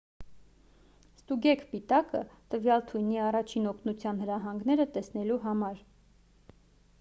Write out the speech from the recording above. ստուգեք պիտակը տվյալ թույնի առաջին օգնության հրահանգները տեսնելու համար